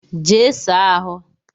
Jee saa ahụ!